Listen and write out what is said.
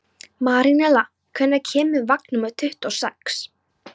Marinella, hvenær kemur vagn númer tuttugu og sex?